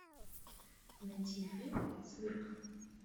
найти фильм цирк